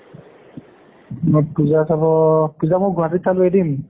পূজা চাব, পূজা মই গুৱাহাটীত চালোঁ এদিন।